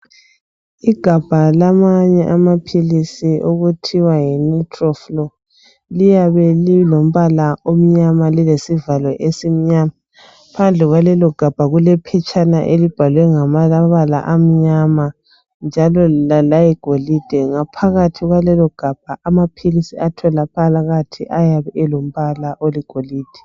Igabha lamanye amaphilisi okuthiwa Yi nutroflo liyabe lilombala omnyama lesivalo esimnyama phandle kwalelogabha kulephetshana elibhalwe ngamabala amnyama njalo layigolide ngaphakathi kwalelogabha amaphilisi atholakala phakathi ayabe elombala oligolide.